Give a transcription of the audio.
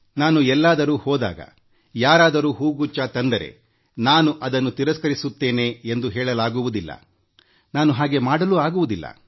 ನಾನು ಎಲ್ಲಾದರೂ ಹೋದಾಗ ಯಾರಾದರೂ ಹುಗುಚ್ಛ ತಂದರೆನಾನು ಅದನ್ನು ತಿರಸ್ಕರಿಸುತ್ತೇನೆ ಎಂದು ಹೇಳಲಾಗುವುದಿಲ್ಲ ನಾನು ಹಾಗೆ ಮಾಡಲಾಗುವುದಿಲ್ಲ